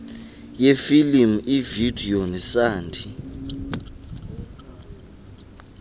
yefilimu ivideyo nesandi